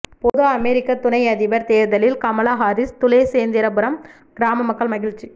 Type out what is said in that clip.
பொது அமெரிக்க துணை அதிபர் தேர்தலில் கமலா ஹாரிஸ் துளசேந்திரபுரம் கிராம மக்கள் மகிழ்ச்சி